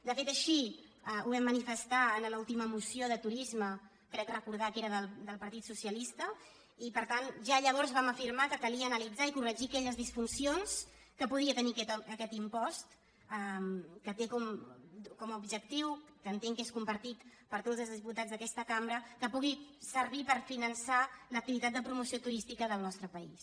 de fet així ho vam manifestar en l’última moció de turisme crec recordar que era del partit socialista i per tant ja llavors vam afirmar que calia analitzar i corregir aquelles disfuncions que podia tenir aquest impost que té com a objectiu que entenc que és compartit per tots els diputats d’aquesta cambra que pugui servir per finançar l’activitat de promoció turística del nostre país